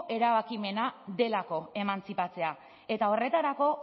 erabakimena delako emantzipatzea eta horretarako